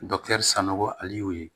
sanɔgɔ ale y'o ye